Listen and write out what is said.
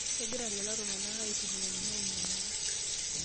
Kegira lelo tunganak aitumia ninye ainyalaki.